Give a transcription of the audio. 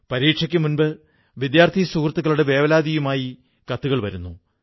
പരീക്ഷയ്ക്കു മുമ്പ് വിദ്യാർഥി സുഹൃത്തുക്കളുടെ വേവലാതികളുമായി കത്തുകൾ വരുന്നു